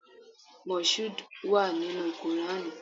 Moshood wà nínú Qùrání.